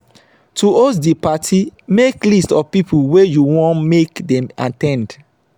to host di parti make list of pipo wey you won make dem at ten d